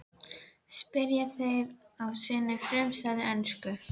spyrja þeir á sinni frumstæðu ensku.